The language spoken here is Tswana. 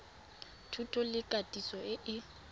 thuto le katiso e e